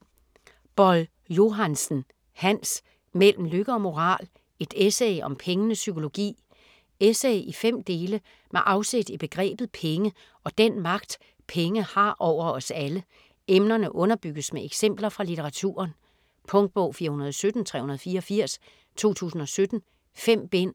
Boll-Johansen, Hans: Mellem lykke og moral: et essay om pengenes psykologi Essay i fem dele med afsæt i begrebet penge og den magt penge har over os alle. Emnerne underbygges med eksempler fra litteraturen. Punktbog 417384 2017. 5 bind.